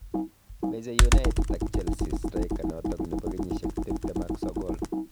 Meche united ak chelsea striker noto nebo kenyishek tiptem ak sogol